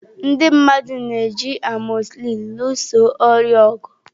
Ndị mmadụ na-eji amọsịlịn lụso ọrịa ọgụ.